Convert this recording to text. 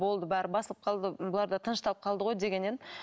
болды бәрі басылып қалды бұлар да тынышталып қалды ғой деген едім